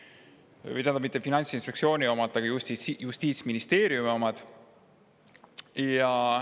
mitte Finantsinspektsiooni omad, vaid Justiitsministeeriumi omad.